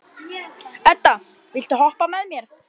Edda, viltu hoppa með mér?